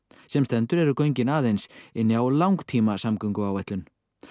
sem stendur eru göngin aðeins inni á langtímasamgönguáætlun